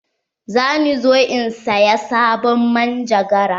Za ni zo in saya sabon manjagara.